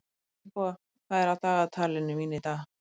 Finnboga, hvað er á dagatalinu mínu í dag?